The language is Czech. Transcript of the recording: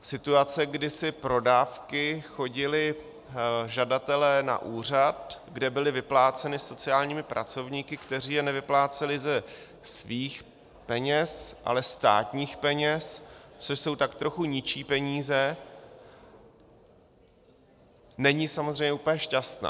Situace, kdy si pro dávky chodili žadatelé na úřad, kde byly vypláceny sociálními pracovníky, kteří je nevypláceli ze svých peněz, ale státních peněz, což jsou tak trochu ničí peníze, není samozřejmě úplně šťastná.